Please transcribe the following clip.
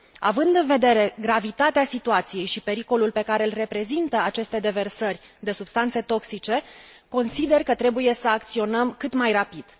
Având în vedere gravitatea situației și pericolul pe care l reprezintă aceste deversări de substanțe toxice, consider că trebuie să acționăm cât mai rapid.